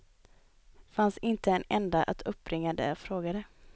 Fanns inte en enda att uppbringa där jag frågade.